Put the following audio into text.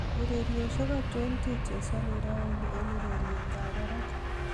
ureryosyek achon chechezoni raini en ureryet ab barak